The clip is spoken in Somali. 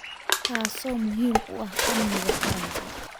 taasoo muhiim u ah amniga qaranka.